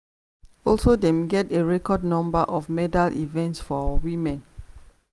also dem get a record number of medal events for women.